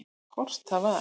Hvort það var!